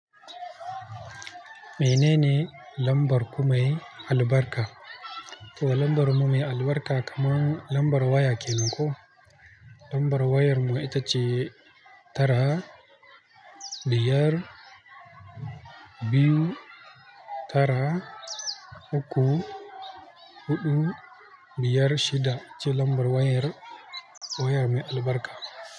Menene lambar ku mai albarka? To lambar mu mai albarka kaman lambar waya kenan koh. Lambar wayar mu ita ce tara, biyar, biyu, tara, uku, huɗu, biyar, shida ce lambar wayar waya mai albarka.